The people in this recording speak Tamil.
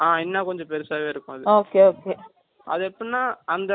அது எப்படின்னா அந்த மேல அந்த ஒரு floor லே போய்ட்டனா நீ